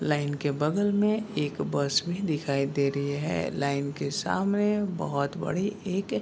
line के बगल में एक बस में दिखाई दे रही है लाइन के सामने बोहोत बड़ी एक --